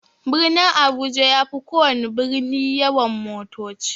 Birnin abuja yafi kowana birni yawan motoci.